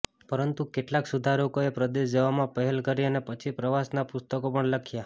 પરંતુ કેટલાક સુધારકોએ પરદેશ જવામાં પહેલ કરી અને પછી પ્રવાસનાં પુસ્તકો પણ લખ્યા